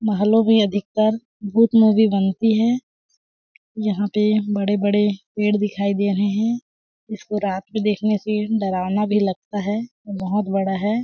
महलो में अधिकतर भूत मूवी बनती है यहाँ पे बड़े-बड़े पेड़ दिखाई दे रहे है इसको रात में देखने से डरावना भी लगता है बहोत बड़ा है।